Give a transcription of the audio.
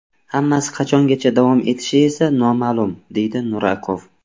Hammasi qachongacha davom etishi esa noma’lum”, – deydi Nurakov.